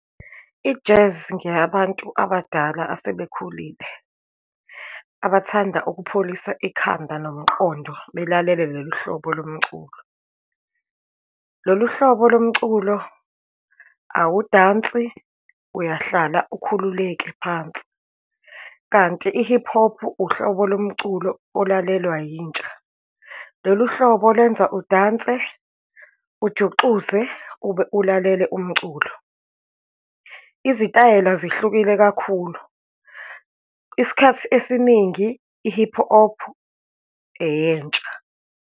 I-jazz ngeyabantu abadala asebekhulile, abathanda ukupholisa ikhanda nomqondo, belalele lolu hlobo lomculo. Lolu hlobo lomculo, awudansi, uyahlala ukhululeke phansi. Kanti i-hip hop uhlobo lomculo olalelwa yintsha. Lolu hlobo lwenza udanse, ujuxuze ube ulalele umculo. Izitayela zihlukile kakhulu, isikhathi esiningi i-hip hop eyentsha.